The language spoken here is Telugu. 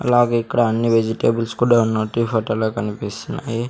అలాగే ఇక్కడ అన్ని వెజిటేబుల్స్ కూడా ఉన్నట్టు ఈ ఫోటో లో కనిపిస్తున్నాయి.